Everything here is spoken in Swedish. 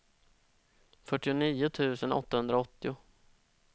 fyrtionio tusen åttahundraåttio